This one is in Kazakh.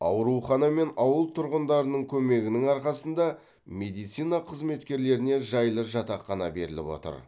аурухана мен ауыл тұрғындарының көмегінің арқасында медицина қызметкерлеріне жайлы жатақхана беріліп отыр